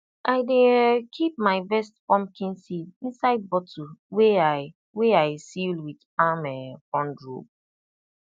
i dey um keep my best pumpkin seed inside bottle wey i wey i seal with palm um frond rope